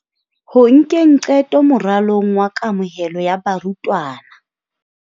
Ho nkeng qeto moralong wa kamohelo ya barutwana.